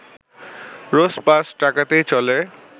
রোজ পাঁচ টাকাতেই চলে